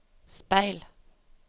speil